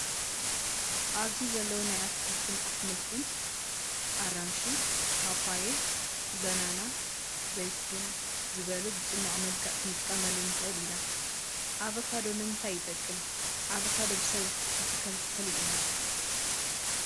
ኣብዚ ዘለው ናይ ኣትክልት ኣሕምልቲ ኣራንሺ፣ ፓፓየ፣ በናና፣ ዘይትሁን ዝበሉ ብፅሟቅ መልክዕ ክንጥቀመሉ ንክእል ኢና። ኣቫካዶ ንምንታይ ይጠቅም ። ኣቫካዶ ብሰብ ዝትከል ተክሊ እዩ።